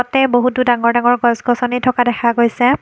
তাতে বহুতো ডাঙৰ ডাঙৰ গছ-গছনি থকা দেখা গৈছে।